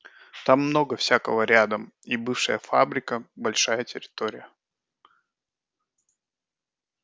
там много всякого рядом и бывшая фабрика большая территория